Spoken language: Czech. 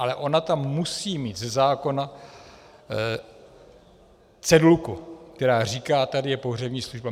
Ale ona tam musí mít ze zákona cedulku, která říká: tady je pohřební služba.